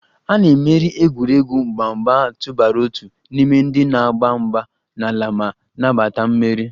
A na-emeri egwuregwu mgba mgbe a tụbara otu n'ime ndị na-agba mgba n'ala ma nabata mmeri